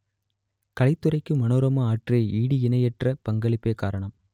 கலைத் துறைக்கு மனோரமா ஆற்றிய ஈடு இணையற்ற பங்களிப்பே காரணம்